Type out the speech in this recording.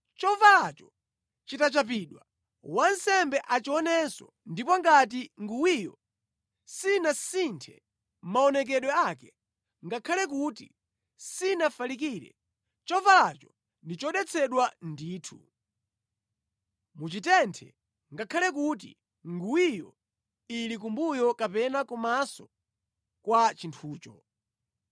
Chovalacho chitachapidwa, wansembe achionenso ndipo ngati nguwiyo sinasinthe maonekedwe ake, ngakhale kuti sinafalikire, chovalacho ndi chodetsedwa ndithu. Muchitenthe, ngakhale kuti nguwiyo ili kumbuyo kapena kumaso kwa chinthucho.